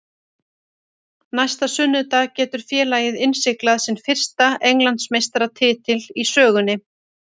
Næsta sunnudag getur félagið innsiglað sinn fyrsta Englandsmeistaratitil í sögunni.